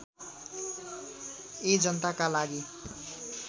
यी जनताका लागि